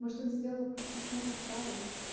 может он сделал просто не смог отправить